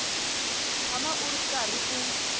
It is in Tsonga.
tshama u ri karhi u